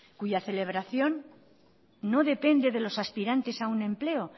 cuya celebración no depende de los aspirantes a un empleo